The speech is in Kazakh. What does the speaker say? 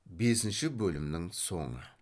бесінші бөлімнің соңы